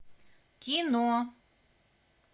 кино